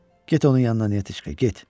Get onun yanına, Netiçka, get.